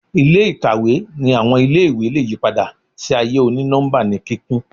Ile-ikawe ni awọn ile-iwe le yipada si aaye oni-nọmba ni kikun